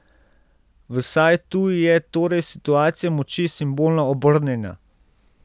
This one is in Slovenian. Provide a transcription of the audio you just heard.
Vsaj tu je torej situacija moči simbolno obrnjena.